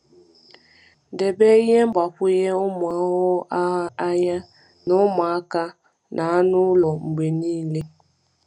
Debe ihe mgbakwunye ụmụ ahụhụ anya na ụmụaka na anụ ụlọ mgbe niile.